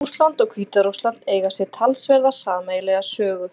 Rússland og Hvíta-Rússland eiga sér talsverða sameiginlega sögu.